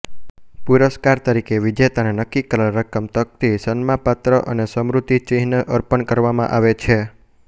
પુરસ્કાર તરીકે વિજેતાને નક્કી કરેલ રકમ તક્તી સન્માપત્ર અને સ્મૃતિચિહ્ન અર્પણ કરવામાં આવે છે